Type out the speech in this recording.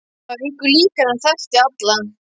Það var engu líkara en hann þekkti alla.